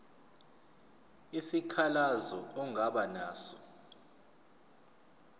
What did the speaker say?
isikhalazo ongaba naso